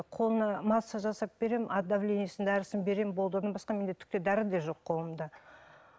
қолына массаж жасап беремін от давлениесінің дәрісін беремін болды одан басқа менде түкте дәрі де жоқ қолымда